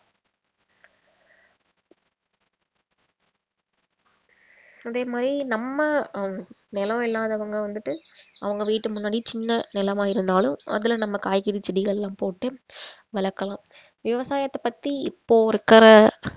அதே மாதிரி நம்ம ஹம் நிலம் இல்லாதவங்க வந்துட்டு அவங்க வீட்டு முன்னாடி சின்ன நிலமா இருந்தாலும் அதுல நம்ம காய்கறி செடிகள்லாம் போட்டு வளர்க்கலாம் விவசாயத்தைப் பத்தி இப்போ இருக்கிற